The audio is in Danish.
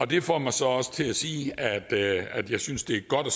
det får mig så også til at sige at jeg synes det er godt at